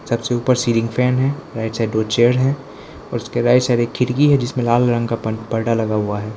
सबसे ऊपर ceiling fan है राइट साइड दो चेयर है उसके राइट साइड खिड़की है जिसमें लाल रंग का पर्दा लगा हुआ है।